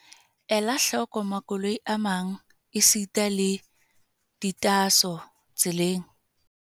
Ela hloko makoloi a mang esita le ditaaso tseleng.